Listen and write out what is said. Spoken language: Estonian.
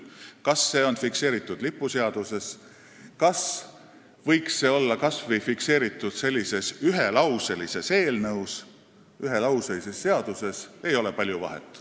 Kas see on fikseeritud lipuseaduses või kas see võiks olla fikseeritud kas või ühelauselises seaduses, siin ei ole palju vahet.